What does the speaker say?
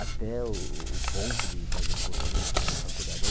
até o o ponto de fazer um cursinho, fazer uma faculdade.